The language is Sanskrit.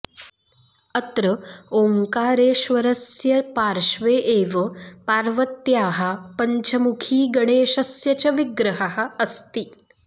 अत्र ओङ्कारेश्वरस्य पार्श्वे एव पार्वत्याः पञ्चमुखीगणेशस्य च विग्रहः अस्ति